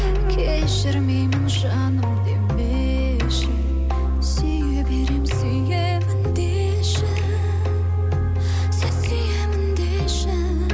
кешірмеймін жаным демеші сүйе беремін сүйемін деші сен сүйемін деші